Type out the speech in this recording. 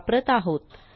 वापरत आहोत